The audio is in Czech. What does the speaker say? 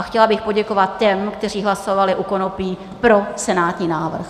A chtěla bych poděkovat těm, kteří hlasovali u konopí pro senátní návrh.